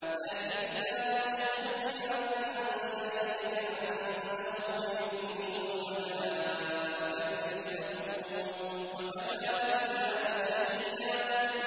لَّٰكِنِ اللَّهُ يَشْهَدُ بِمَا أَنزَلَ إِلَيْكَ ۖ أَنزَلَهُ بِعِلْمِهِ ۖ وَالْمَلَائِكَةُ يَشْهَدُونَ ۚ وَكَفَىٰ بِاللَّهِ شَهِيدًا